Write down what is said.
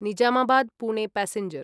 Nizamabad Pune passenger